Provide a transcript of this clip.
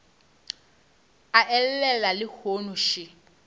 a e llela lehono še